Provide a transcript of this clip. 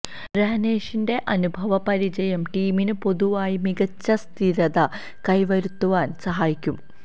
രഹനേഷിന്റെ അനുഭവ പരിചയം ടീമിന് പൊതുവായി മികച്ച സ്ഥിരത കൈവരുത്തുവാൻ സഹായിക്കും